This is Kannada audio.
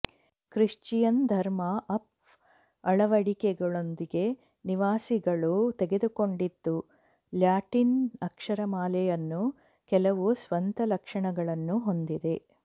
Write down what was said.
ಕ್ರಿಶ್ಚಿಯನ್ ಧರ್ಮ ಆಫ್ ಅಳವಡಿಕೆಗಳೊಂದಿಗೆ ನಿವಾಸಿಗಳು ತೆಗೆದುಕೊಂಡಿತು ಲ್ಯಾಟಿನ್ ಅಕ್ಷರಮಾಲೆಯನ್ನು ಕೆಲವು ಸ್ವಂತ ಲಕ್ಷಣಗಳನ್ನು ಹೊಂದಿದೆ